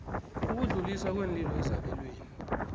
ukudluliswa kweenlilo ezabelweni